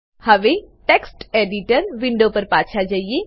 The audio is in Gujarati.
હવે ટેક્સ્ટ એડિટર વિન્ડો પર પાછા જઈએ